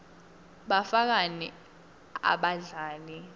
bafakani abadlali